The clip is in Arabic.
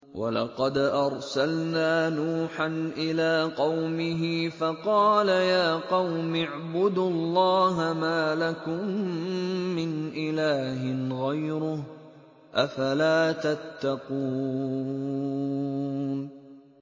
وَلَقَدْ أَرْسَلْنَا نُوحًا إِلَىٰ قَوْمِهِ فَقَالَ يَا قَوْمِ اعْبُدُوا اللَّهَ مَا لَكُم مِّنْ إِلَٰهٍ غَيْرُهُ ۖ أَفَلَا تَتَّقُونَ